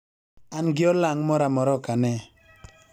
an gi olang' moramora okane